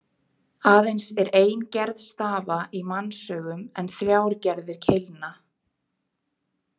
Aðeins er ein gerð stafa í mannsaugum en þrjár gerðir keilna.